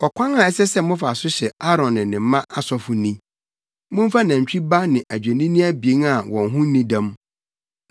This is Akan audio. “Ɔkwan a ɛsɛ sɛ mofa so hyɛ Aaron ne ne mma asɔfo ni: Momfa nantwi ba ne adwennini abien a wɔn ho nni dɛm.